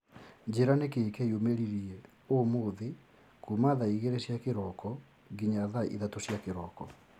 njĩra nĩkĩĩ kĩyumĩririe ũmũthĩ kuma thaa igĩrĩ cia kĩroko nginya thaa ithatũ cia kĩroko